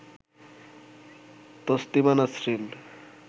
Taslima Nasrin